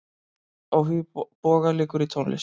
Áhugi Boga liggur í tónlist.